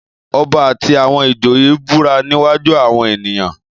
Ọba àti àwọn ìjòyè búra níwájú àwọn ènìyàn